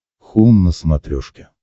хоум на смотрешке